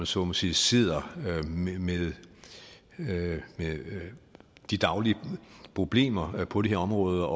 så må sige sidder med de daglige problemer på det her område